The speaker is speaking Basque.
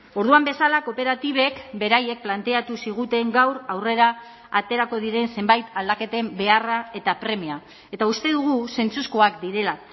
orduan bezala kooperatibek beraiek planteatu ziguten gaur aurrera aterako diren zenbait aldaketen beharra eta premia eta uste dugu zentzuzkoak direla